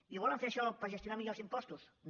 i ho volen fer això per gestionar millor els impostos no